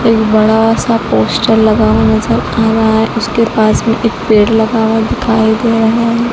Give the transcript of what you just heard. एक बड़ा सा पोस्टर लगा नजर आ रहा है उसके पास में एक पेड़ लगा हुआ दिखाई दे रहा है।